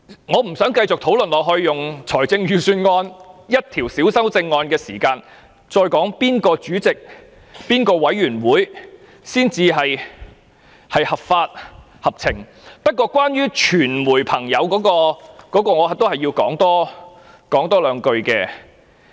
我不想繼續用財政預算案內一項細小修正案的發言時間，來討論哪一方主席、法案委員會才是合法、合情，但關於傳媒與保安的衝突，我仍要多說兩句。